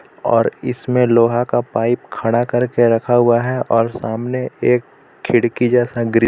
और इसमें लोहा का पाइप खड़ा करके रखा हुआ है और सामने एक खिड़की जैसा ग्रिल --